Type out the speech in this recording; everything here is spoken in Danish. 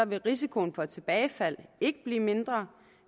vil risikoen for tilbagefald ikke blive mindre